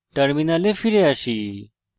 terminal ফিরে আসি